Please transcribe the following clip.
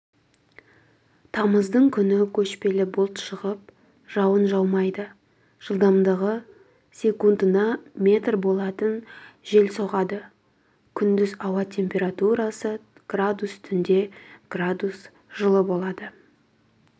тамыздың күні көшпелі бұлт шығып жауын жаумайды жылдамдығы секундына метр болатын жел соғады күндіз ауа температурасы градус түнде градус жылы болады